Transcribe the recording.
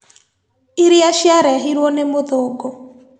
Iria ciarehirwo nĩ mũthũngu